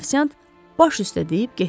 Ofsiant baş üstə deyib getdi.